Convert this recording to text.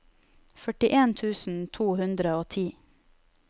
førtien tusen to hundre og ti